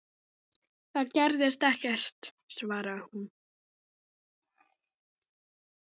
Það gerðist ekkert, svaraði hún.